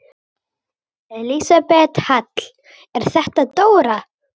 Elísabet Hall: Er þetta dóra?